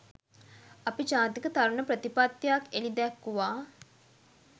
අපි ජාතික තරුණ ප්‍රතිපත්තියක් එළිදැක්වූවා